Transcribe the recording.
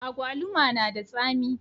Agwaluma na da tsami